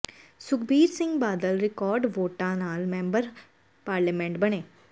Sukhbir Singh Badal record ਵੋਟਾਂ ਨਾਲ member parliament ਬਣੇ